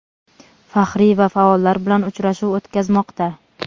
faxriy va faollar bilan uchrashuv o‘tkazmoqda.